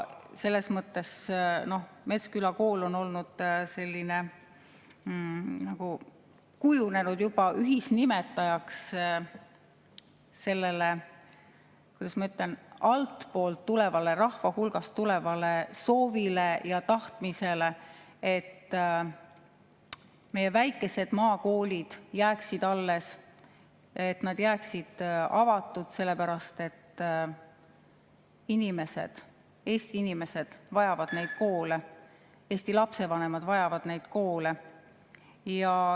Selles mõttes on Metsküla kool nagu kujunenud ühisnimetajaks sellele, kuidas ma ütlen, altpoolt tulevale, rahva hulgast tulevale soovile ja tahtmisele, et meie väikesed maakoolid jääksid alles, et need jääksid avatuks, sellepärast et Eesti inimesed vajavad neid koole, Eesti lapsevanemad vajavad neid koole.